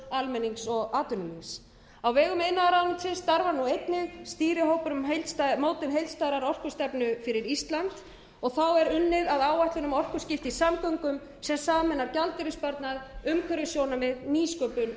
almennings og atvinnulífs á vegum iðnaðarráðuneytisins starfar nú einnig stýrihópur um mótun heildstæðrar orkustefnu fyrir ísland unnið er að áætlun um orkuskipti í samgöngum sem sameinar gjaldeyrissparnað umhverfissjónarmið nýsköpun og